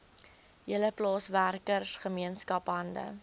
hele plaaswerkergemeenskap hande